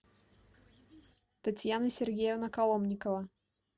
татьяна сергеевна коломникова